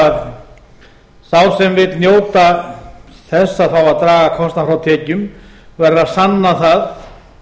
að sá sem vill njóta þess að fá að draga kostnað frá tekjum verður að sanna það